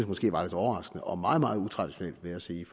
måske var lidt overraskende og meget meget utraditionelt vil jeg sige